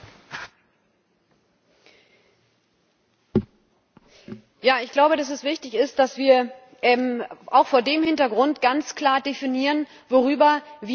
Ich glaube, dass es wichtig ist, dass wir auch vor diesem Hintergrund ganz klar definieren, worüber wir eigentlich reden die Akzeptanz der Vielfalt von Geschlecht.